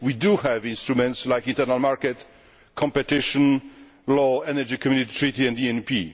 We do have instruments like internal market competition law, the Energy Community Treaty and the ENP.